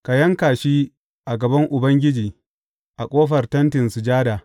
Ka yanka shi a gaban Ubangiji a ƙofar Tentin Sujada.